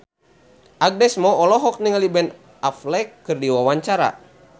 Agnes Mo olohok ningali Ben Affleck keur diwawancara